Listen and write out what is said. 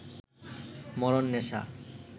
মরণ নেশা